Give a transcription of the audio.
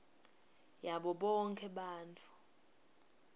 yabo bonkhe bantfu